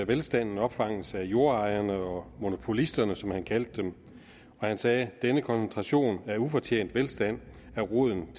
velstanden opfanges af jordejerne og monopolisterne som han kaldte dem og han sagde denne koncentration af ufortjent velstand er roden